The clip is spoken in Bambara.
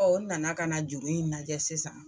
u nana ka na juru in lajɛ sisan.